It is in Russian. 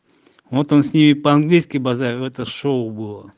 вот он с ней по-английски базарил это шоу было